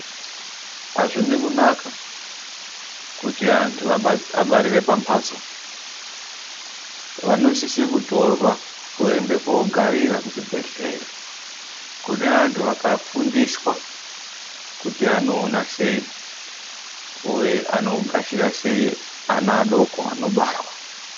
Azvine kunaka kuti antu abarire pamhatso. Vanosise kutorwa, voenda kogarira kuchibhedhlera kune antu akafundiswa kuti anoona sei uye anogashira sei ana adoko anobarwa.